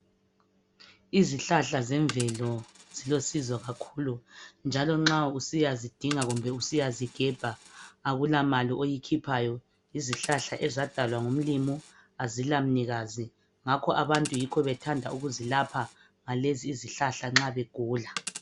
Izihlahla zemvelo zilosizo kakhulu njalo nxa usiyazaidinga kumbe usiyazigebha akulamali oyikhiphayo, yizihlahla ezadalwa ngumlimu azilamnikazi ngakho abantu yikho bethanda ukuzilapha ngalezi izhlahla nxa begula